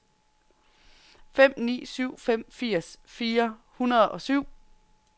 fem ni syv fem firs fire hundrede og syv